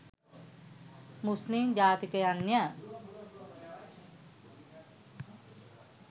මුස්ලිම් ජාතිකයන්ය.